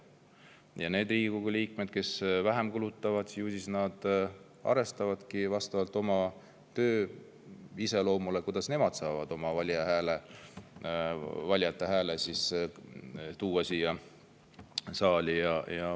Ju siis need Riigikogu liikmed, kes vähem kulutavad, arvestavad vastavalt oma töö iseloomule, kuidas nemad saavad oma valijate hääle siia saali tuua.